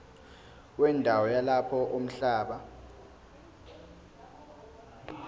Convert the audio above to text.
wendawo yalapho umhlaba